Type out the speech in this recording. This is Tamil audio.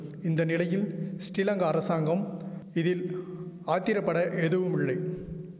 இந்த நிலையில் ஸ்ரீலங்கா அரசாங்கம் இதில் ஆத்திரபட எதுவுமுல்லை